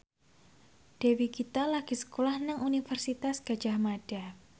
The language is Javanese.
Dewi Gita lagi sekolah nang Universitas Gadjah Mada